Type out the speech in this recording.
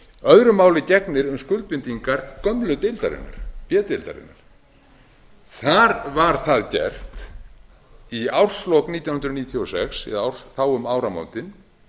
öðru máli gegnir um skuldbindingar gömlu deildarinnar b deildarinnar þar var það gert í árslok nítján hundruð níutíu og sex eða þá um áramótin